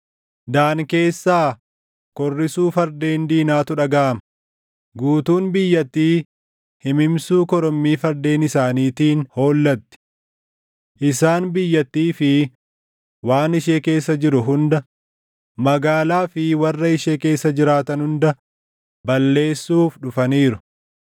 Daan keessaa korrisuu fardeen diinaatu dhagaʼama; guutuun biyyattii himimsuu korommii fardeen isaaniitiin hollatti. Isaan biyyattii fi waan ishee keessa jiru hunda, magaalaa fi warra ishee keessa jiraatan hunda, balleessuuf dhufaniiru.